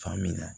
Faamuya